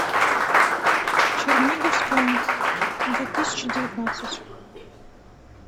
черниговская две тысячи девятнадцать